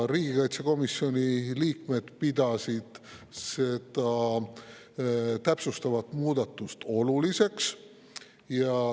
Riigikaitsekomisjoni liikmed pidasid seda täpsustavat muudatust oluliseks.